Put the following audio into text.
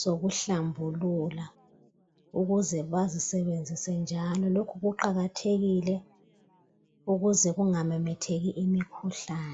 sokuhlambulula ukuze bazisebenzise njalo lokhu kuqakathekile ukuze kungamemetheki imikhuhlane